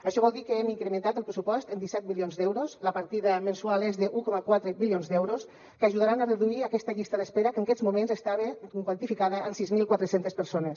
això vol dir que hem incrementat el pressupost en disset milions d’euros la partida mensual és d’un coma quatre milions d’euros que ajudaran a reduir aquesta llista d’espera que en aquests moments estava quantificada en sis mil quatre cents persones